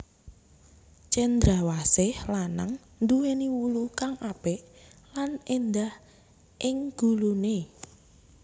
Cendrawsih lanang nduwèni wulu kang apik lan éndah ing guluné